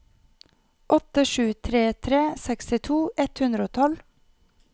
åtte sju tre tre sekstito ett hundre og tolv